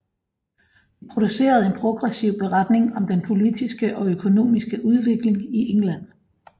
De producerede en progressiv beretning om den politiske og økonomiske udvikling i England